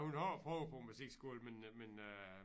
Hun har prøvet på musikskolen men øh men øh